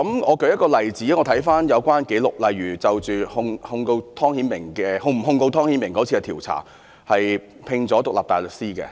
我舉一例子——看回有關紀錄——例如就着是否控告湯顯明的調查聘請了獨立大律師。